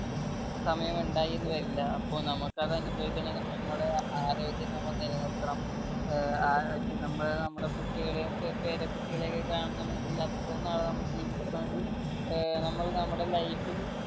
സമയമിണ്ടായി എന്ന് വരില്ല അപ്പോ നമ്മക്ക് അത് അനുഭവിക്കണെങ്കിൽ നമ്മുടെ ആരോഗ്യം നമ്മ നിലനിർത്തണം ഏർ ആ നമ്മൾ നമ്മടെ കുട്ടികളെയും പേരക്കുട്ടികളെക്കെ കാണണമെങ്കിൽ അത്രയും നാൾ നമ്മൾ ജീവിക്കണമെങ്കി ഏർ നമ്മൾ നമ്മടെ life ൽ